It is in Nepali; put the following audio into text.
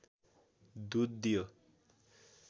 दुध दियो